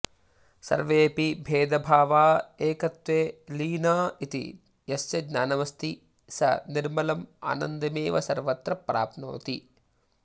सर्वेऽपि भेदभावा एकत्वे लीनाइति यस्य ज्ञानमस्ति स निर्मलम् आनन्दमेव सर्वत्र प्राप्नोति